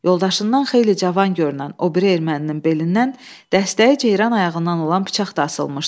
Yoldaşından xeyli cavan görünən o biri erməninin belindən dəstəyi ceyran ayağından olan bıçaq da asılmışdı.